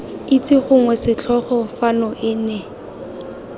itse gongwe setlogolo fano ene